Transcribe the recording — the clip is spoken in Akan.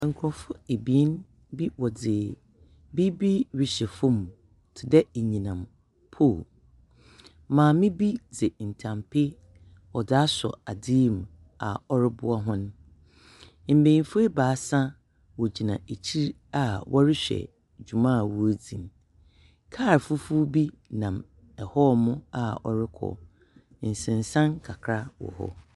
Nkrɔfo ebien bi wɔdzi biibi rekyɛ fom te dɛ enyinam pol. Maame bi dzi ntanpi ɔdze asɔ adzi yi mu a ɔre boa wɔn. Mmenyinfo ebaasa, wo gyina ɛkyir a wɔrehwɛ dwuma a wo dzi. Kaal fufuw bi nam ɛ hɔ mu a wɔre kɔ. Nsen san kakra wɔ hɔ.